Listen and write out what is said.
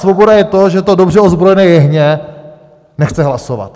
Svoboda je to, že to dobře ozbrojené jehně nechce hlasovat.